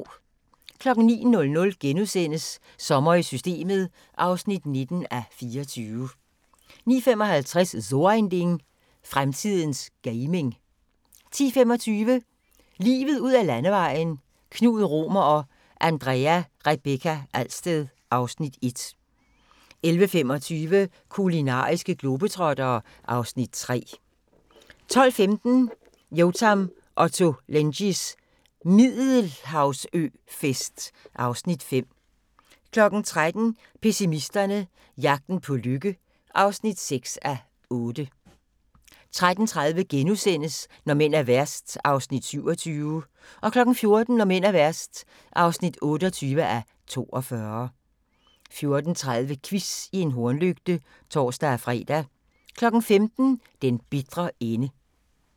09:00: Sommer i Systemet (19:24)* 09:55: So ein Ding: Fremtidens gaming 10:25: Livet ud ad landevejen: Knud Romer og Andrea Rebekka Alsted (Afs. 1) 11:25: Kulinariske globetrottere (Afs. 3) 12:15: Yotam Ottolenghis Middelhavsøfest (Afs. 5) 13:00: Pessimisterne - jagten på lykke (6:8) 13:30: Når mænd er værst (27:42)* 14:00: Når mænd er værst (28:42) 14:30: Quiz i en hornlygte (tor-fre) 15:00: Den bitre ende